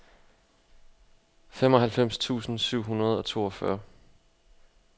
femoghalvfems tusind syv hundrede og toogfyrre